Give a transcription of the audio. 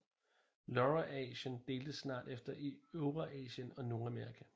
Laurasien deltes snart efter i Eurasien og Nordamerika